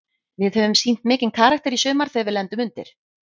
Við höfum sýnt mikinn karakter í sumar þegar við lendum undir.